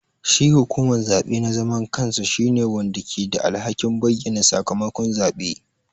Shi hukuman zaɓe na zaman kansa shine wanda ke da alhakin bayyana sakamakon zabe.